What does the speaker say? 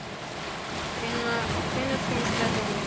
Finna, hvenær kemur strætó númer níu?